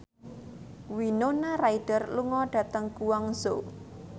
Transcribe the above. Winona Ryder lunga dhateng Guangzhou